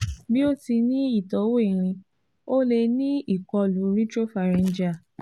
Bi o ti n ni itọwo irin, o le ni ikolu retropharyngeal